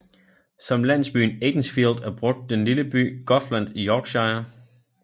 Som landsbyen Aidensfield er brugt den lille by Goathland i Yorkshire